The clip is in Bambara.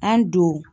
An don